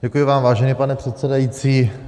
Děkuji vám, vážený pane předsedající.